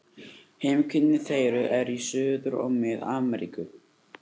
Heimkynni þeirra eru í Suður- og Mið-Ameríku.